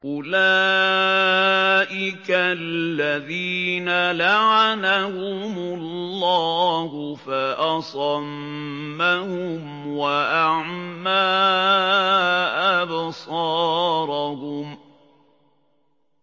أُولَٰئِكَ الَّذِينَ لَعَنَهُمُ اللَّهُ فَأَصَمَّهُمْ وَأَعْمَىٰ أَبْصَارَهُمْ